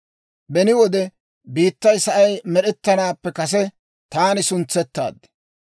Beni wode, biittay sa'ay med'ettanaappe kase taani suntsettaad.